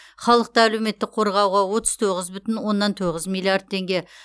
халықты әлеуметтік қорғауға отыз тоғыз бүтін оннан тоғыз миллиард теңге